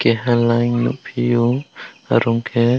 kaha layen nwngfyo arong khe.